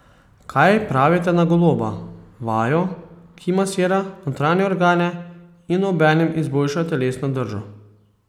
Kaj pravite na goloba, vajo, ki masira notranje organe in obenem izboljša telesno držo?